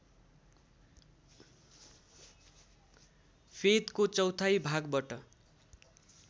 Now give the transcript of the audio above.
फेदको चौथाइ भागबाट